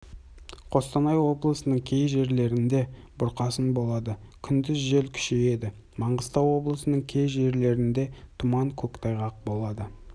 қостанай облысының кей жерлерінде бұрқасын болады күндіз жел күшейеді маңғыстау облысының кей жерлерінде тұман көктайғақ болады